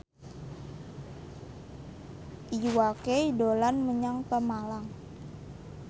Iwa K dolan menyang Pemalang